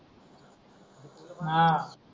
आह